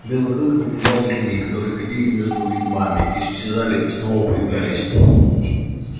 белый клык наблюдал за людьми которые ходили между вигвамами исчезали снова появлялись